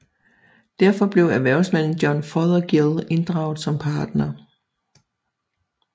Derfor blev erhvervsmanden John Fothergill inddraget som partner